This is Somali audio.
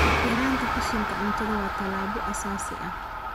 Yaraynta qashinka cuntada waa tallaabo aasaasi ah.